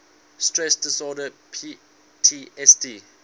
stress disorder ptsd